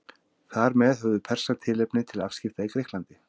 Þar með höfðu Persar tilefni til afskipta í Grikklandi.